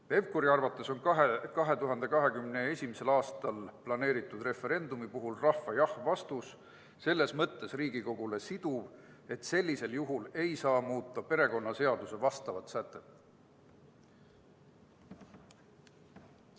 Pevkuri arvates on kahe 2021. aastaks planeeritud referendumi puhul rahva jah-vastus selles mõttes Riigikogule siduv, et sellisel juhul ei saa muuta perekonnaseaduse vastavat sätet.